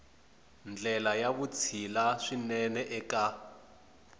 ndlela ya vutshila swinene eka